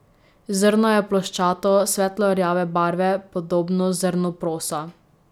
Zrno je ploščato, svetlo rjave barve, podobno zrnu prosa.